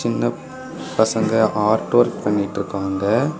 இந்த பசங்க art work பண்ணிட்டு இருக்காங்க.